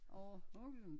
Overhovedet ikke